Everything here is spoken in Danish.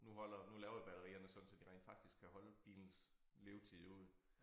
Nu holder nu laver de batterierne sådan så de rent faktisk kan holde bilens levetid ud